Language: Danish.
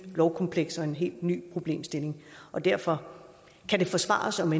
lovkompleks og en helt ny problemstilling derfor kan det forsvares om